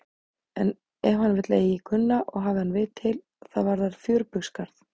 En ef hann vill eigi kunna og hafi hann vit til, það varðar fjörbaugsgarð.